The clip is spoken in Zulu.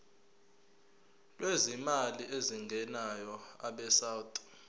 lwezimali ezingenayo abesouth